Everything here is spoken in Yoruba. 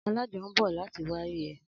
Alájọ ń bọ̀ láti wárí ẹ